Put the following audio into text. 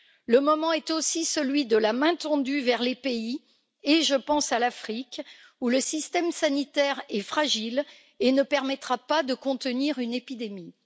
Le moment est aussi celui de la main tendue vers les pays, et je pense à l'Afrique, où le système sanitaire est fragile et ne permettra pas de contenir une épidémie.